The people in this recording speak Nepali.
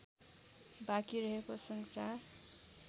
बाँकी रहेको संसार